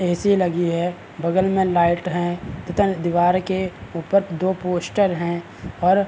AC. लगी है। बगल में लाइट हैं। दीवार के ऊपर दो पोस्टर हैं और --